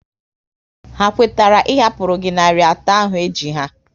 Ha kwetara ị hapụru gị narị atọ ahụ e ji ha?